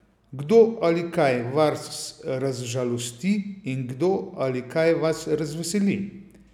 Kdo ali kaj vas razžalosti in kdo ali kaj vas razveseli?